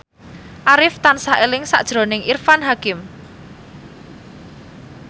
Arif tansah eling sakjroning Irfan Hakim